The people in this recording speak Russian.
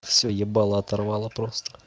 всё ебало оторвало просто